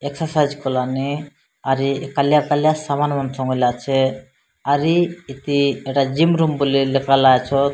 Exercise କଲାନି। ଆରି କାଲିଆ କାଲିଆ ସାମାନ୍ ମାନେ ସମେଇଲା ଅଛେ। ଆରି ଇତି ଜିମ୍ ରୁମ୍ ବୋଲି ଲେଖାଲା ଚତ୍।